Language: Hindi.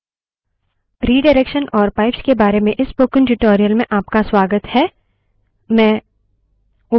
रिडाइरेक्शन और pipes के बारे में इस spoken tutorial में आपका स्वागत है